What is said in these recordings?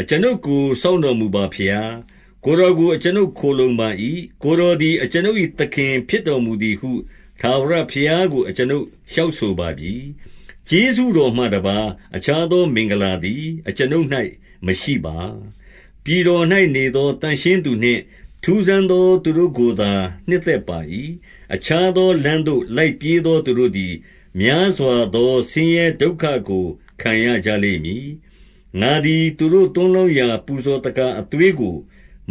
အကျွန်ုပ်ကို စောင့်မတော်မူပါဘုရား။ ကိုယ်တော်ကို အကျွန်ုပ်ခိုလှုံပါ၏။ 2 ကိုယ်တော်သည် အကျွန်ုပ်၏သခင်ဖြစ်တော်မူ သည်ဟု ထာဝရဘုရားကို အကျွန်ုပ်လျှောက်ဆိုပါပြီ။ ကျေးဇူးတော်မှတပါး အခြားသောမင်္ဂလာသည်အကျွန်ုပ် ၌ မရှိပါ။ 3 ပြည်တော်၌နေသော သန့်ရှင်းသူနှင့် ထူးဆန်း သောသူတို့ကိုသာ နှစ်သက်ပါ၏။ 4 အခြားသောလမ်းသို့ လိုက်ပြေးသော သူတို့သည် များစွာသော ဆင်းရဲဒုက္ခကို ခံရကြလိမ့်မည်။ ငါသည် သူတို့သွန်းလောင်းရာ ပူဇော်သက္ကာအသွေးကို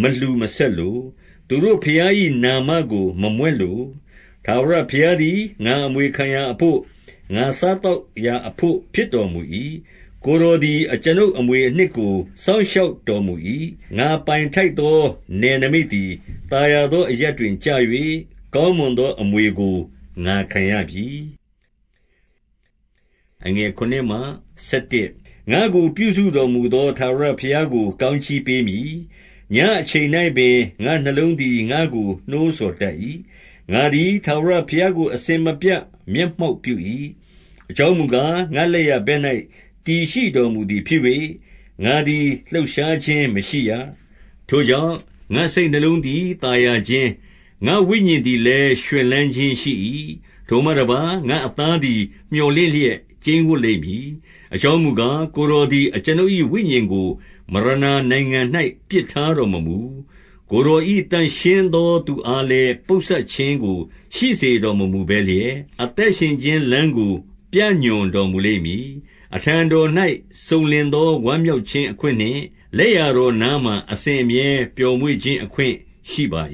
မလှူ မဆက်လို။ သူတို့ဘုရား၏နာမကို မမြွက်လို။ 5 ထာဝရဘုရားသည် ငါအမွေခံရာအဘို့၊ ငါ စားသောက်ရာအဘို့ ဖြစ်တော်မူ၏။ ကိုယ်တော်သည် အကျွန်ုပ်အမွေအနှစ်ကို စောင့်ရှောက်တော်မူ၏။ 6 ငါပိုင်ထိုက်သောနယ်နိမိတ်သည် သာယာသော အရပ်တွင်ကျ၍၊ ကောင်းမွန်သော အမွေကို ငါခံရပြီ။ 7 ငါ့ကို ပြုစုတော်မူသော ထာဝရဘုရားကို ကောင်းကြီးပေးမည်။ ညဉ့်အချိန်၌ပင် ငါ့နှလုံးသည် ငါ့ကို နှိုးဆော်တတ်၏။ 8 ငါသည် ထာဝရဘုရားကို အစဉ်မပြတ် မျက် မှောက်ပြု၏။ အကြောင်းမူကား၊ ငါလက်ျာဘက်၌ တည်ရှိတော်မူသည်ဖြစ်၍၊ ငါသည်လှုပ်ရှားခြင်း မရှိရ။ ထိုကြောင့် ငါ့စိတ်နှလုံးသည် သာယာခြင်း၊ 9 ငါ့ဝိညာဉ်သည်လည်း ရွှင်လန်းခြင်းရှိ၏။ ထိုမှ တပါး၊ ငါ့အသားသည် မြော်လင့်လျက် ကျိန်းဝပ်လိမ့်မည်။ 10 အကြောင်းမူကား၊ ကိုယ်တော်သည် အကျွန်ုပ်၏ ဝိညာဉ်ကို မရဏာနိုင်ငံ၌ ပစ်ထားတော်မမူ။ ကိုယ်တော်၏ သန့်ရှင်းသော သူအားလည်း ပုပ်စပ်ခြင်းကို ရှိစေတော် မမူဘဲလျက်၊ 11 အသက်ရှင်ခြင်း လမ်းကို ပြညွှန်တော်မူလိမ့် မည်။ အထံတော်၌ စုံလင်သော ဝမ်းမြောက်ခြင်းအခွင့် နှင့် လက်ျာတော်နားမှာ အစဉ်အမြဲ ပျော်မွေ့ခြင်းအခွင့် ရှိပါ